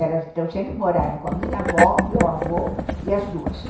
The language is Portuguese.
Elas sempre moraram com a minha avó, meu avô e as duas.